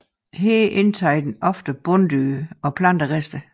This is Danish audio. Her indtager den ofte bunddyr og planterester